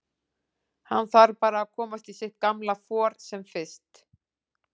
Hann þarf bara að komast í sitt gamla for sem fyrst.